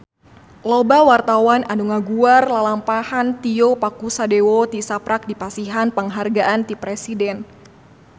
Loba wartawan anu ngaguar lalampahan Tio Pakusadewo tisaprak dipasihan panghargaan ti Presiden